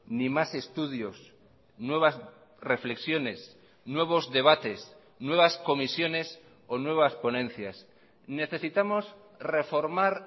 ni mas estudios nuevas reflexiones nuevos debates nuevas comisiones o nuevas ponencias necesitamos reformar